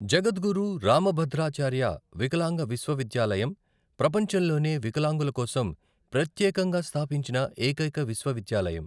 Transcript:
జగద్గురు రామభద్రాచార్య వికలాంగ విశ్వవిద్యాలయం ప్రపంచంలోనే వికలాంగుల కోసం ప్రత్యేకంగా స్థాపించిన ఏకైక విశ్వవిద్యాలయం.